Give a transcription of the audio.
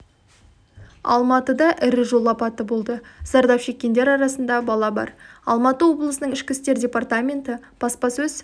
алматыда ірі жол апаты болды зардап шеккендер арасында бала бар алматы облысының ішкі істер департаменті баспасөз